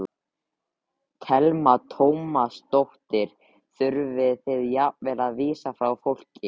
Telma Tómasdóttir: Þurfið þið jafnvel að vísa frá fólki?